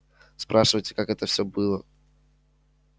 спрашиваете как это все было